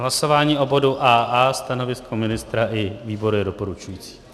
Hlasování o bodu AA, stanovisko ministra i výboru je doporučující.